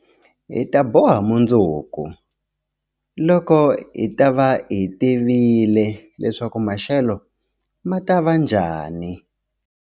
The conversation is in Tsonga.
Hi ta boha mundzuku, loko hi ta va hi tivile leswaku maxelo ma ta va njhani.